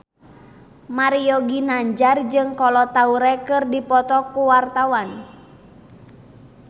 Mario Ginanjar jeung Kolo Taure keur dipoto ku wartawan